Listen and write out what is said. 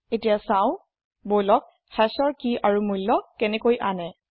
এতিয়া চাওচাও বললক hashৰ কি আৰু মূল্য কেনেকৈ আনে